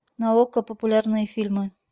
на окко популярные фильмы